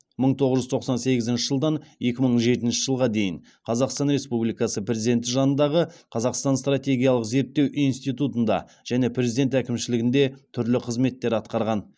мың тоғыз жүз тоқсан сегізінші жылдан екі мың жетінші жылға дейін қазақстан республикасы президенті жанындағы қазақстан стратегиялық зерттеу институтында және президент әкімшілігінде түрлі қызметтер атқарған